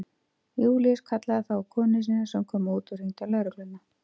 Júlíus kallaði þá á konu sína sem kom út og hringdi á lögregluna.